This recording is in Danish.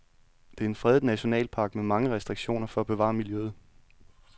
Det er en fredet nationalpark med mange restriktioner for at bevare miljøet.